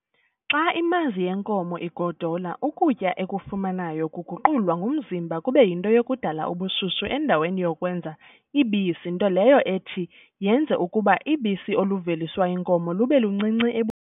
Xa imazi yenkomo igodola, ukutya ekufumanayo, kuguqulwa ngumzimba kube yinto yokudala ubushushu endaweni yokwenza ibisi, ntoleyo ethi yenze ukuba ibisi oluveliswa yinkomo lube luncinci ebu